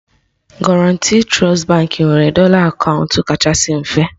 Guarantee Trust Baankị nwere dọla akaụntụ kachasị mfe